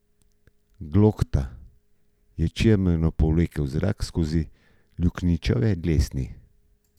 Glokta je čemerno povlekel zrak skozi luknjičave dlesni.